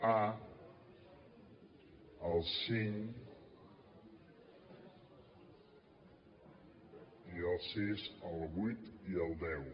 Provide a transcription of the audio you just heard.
a el cinc i el sis el vuit i el deu